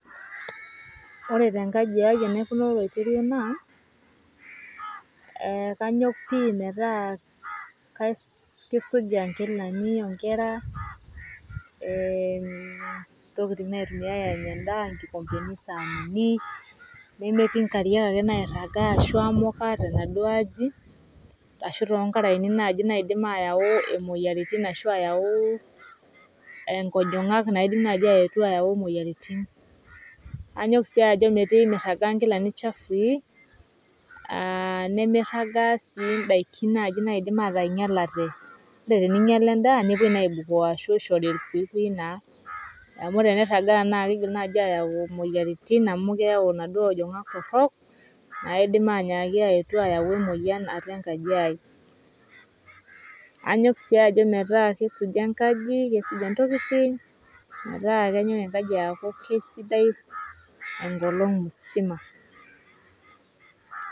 wore tenkaji aii enaikunaa oloirerio naa kanyok pii metaa kisuja nkilani onkera ntokiting' naitumiai anya endaa nkikompeni sanini nemetii nkariak nairagaa ashu emukaa tenaduoo aji ashu tonkaraeni naii naidim ayau imoyiaritin ashu inkojong'ak naidim nai ayau moyiaritin anyok sii pimiragaa nkilani chafui aa nimiragaa sii naii ndaikin naidim nainyalate. wore eninyala nepuoi aibukoo ashu ishori ilkuyikuyi naa amu eniragaa naakidim naii ayau moyiaritin amu keyau naduoo ajang'ak torok naidim ayetu ayau emoyian atua enkaji ai .Anyok sii metaa kisuji enkaji nisuja ntokiting' metaa kenyok enkaji aaku sidai endama musima